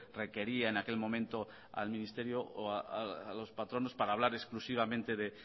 requería en aquel momento al ministerio o a los patronos para hablar exclusivamente de